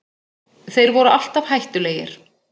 Þeir voru alltaf hættulegir